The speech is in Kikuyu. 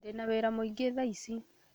Ndĩna wĩra mũingĩ tha ici